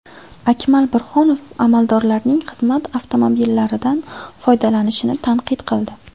Akmal Burhonov amaldorlarning xizmat avtomobillaridan foydalanishini tanqid qildi.